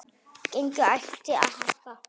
Gengið ætti að hækka.